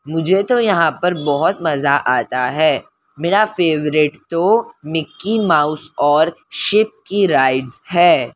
मुझे तो यहां पर बहुत मजा आता है मेरा फेवरेट तो मिक्की माउस और शिप की राइड्स है।